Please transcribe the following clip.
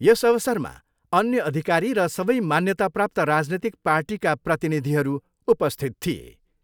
यस अवसरमा अन्य अधिकारी र सबै मान्यताप्राप्त राजनीतिक पार्टीका प्रतिनिधिहरू उपस्थित थिए।